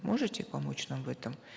может помочь нам в этом